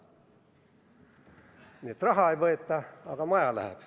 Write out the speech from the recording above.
Nii et raha ei võeta, aga maja läheb.